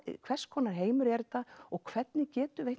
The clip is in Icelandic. hvers konar heimur er þetta og hvernig getum við